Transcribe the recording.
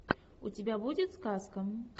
у тебя будет сказка